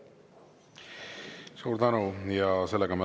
Suur tänu!